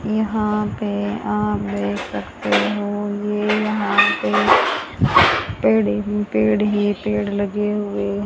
यहां पे आप देख सकते हो ये यहां पे पेड़ ही पेड़ ही पेड़ लगे हुए --